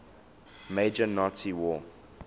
major nazi war